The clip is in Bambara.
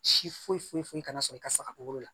Si foyi foyi foyi kana sɔrɔ i ka saga kolo la